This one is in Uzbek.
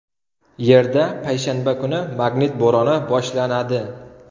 Yerda payshanba kuni magnit bo‘roni boshlanadi.